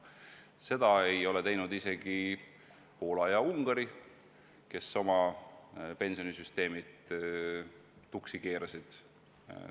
Seda ei ole teinud isegi Poola ja Ungari, kes oma pensionisüsteemid tuksi keerasid.